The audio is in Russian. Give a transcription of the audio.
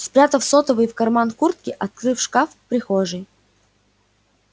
спрятав сотовый в карман куртки открыл шкаф в прихожей